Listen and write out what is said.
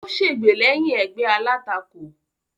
Ó sègbè lẹ́yìn ẹgbẹ́ alátakò.